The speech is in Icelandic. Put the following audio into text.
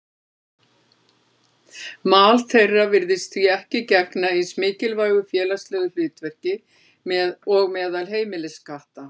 Mal þeirra virðist því ekki gegna eins mikilvægu félagslegu hlutverki og meðal heimiliskatta.